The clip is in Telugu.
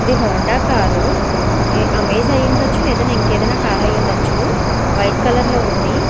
ఇది హోండా కారు అమెజాన్ ఐ ఉండొచ్చు లేదా ఇంకా ఏది ఆయినా కార్ ఐవుండోచు వైట్ కలర్ లో ఉంది.